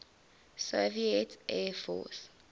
soviet air force